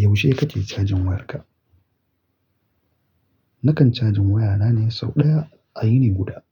Yaushe kake cajin wayarka? Nakan cajin wayana ne sau ɗaya a yini guda.